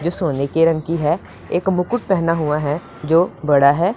जो सोने की रंग की है एक मुकुट पहना हुआ है जो बड़ा है।